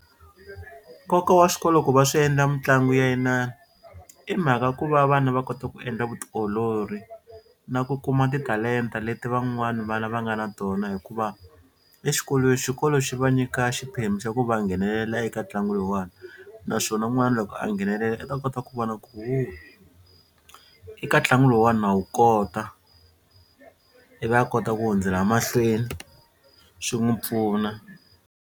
Nkoka wa xikolo ku va swi endla mitlangu ya inani i mhaka ku va vana va kota ku endla vutiolori na ku kuma titalenta leti van'wani vana va nga na tona hikuva exikolweni xikolo xi va nyika xiphemu xa ku va nghenelela eka ntlangu lowani naswona n'wana loko a nghenelela i ta kota ku ho eka ntlangu lowuwani na wu kota ivi a kota ku hundzela mahlweni xi n'wi pfuna.